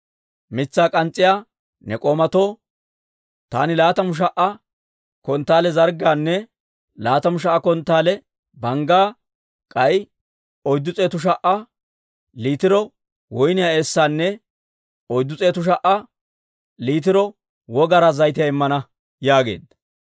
Mitsaa k'ans's'iyaa ne k'oomatoo taani laatamu sha"a konttaale zarggaanne laatamu sha"a konttaale banggaa, k'ay oyddu s'eetu sha"a liitiro woyniyaa eessaanne oyddu s'eetu sha"a liitiro wogaraa zayitiyaa immana» yaageedda.